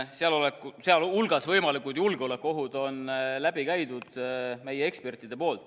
Selle eelnõu, sh võimalikud julgeolekuohud, on meie eksperdid läbi käinud.